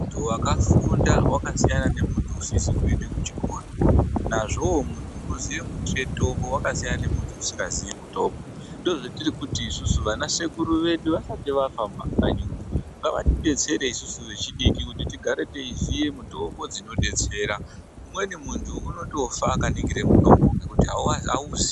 Muntu wakafunda wakasiyane nemuntu usizi kuenda kuchikora. Nazveyo muntu unoziya mutombo wakasiyana nemuntu usingaziyi mutombo. Ndozvetiri kuti isusu vana sekuru vedu vasati vafa mumakanyimwo ngavatidzetsere isusu vechidiki kuti tigare teiziya mitombo dzinodetsera. Umweni muntu unotofa akaningire mutombo ngekuti awuziyi.